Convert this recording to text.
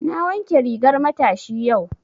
Na wanke rigar matashi yau.